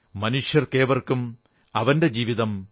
മനുഷ്യർക്കേവർക്കും അവന്റെ ജീവിതം